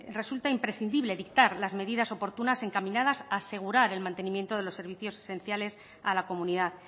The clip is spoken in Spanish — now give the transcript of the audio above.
resulta imprescindible dictar las medidas oportunas encaminadas a asegurar el mantenimiento de los servicios esenciales a la comunidad